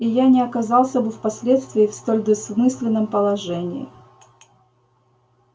и я не оказался бы впоследствии в столь двусмысленном положении